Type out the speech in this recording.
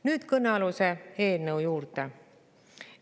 Nüüd kõnealuse eelnõu juurde.